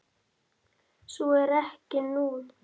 Svo er ekki nú.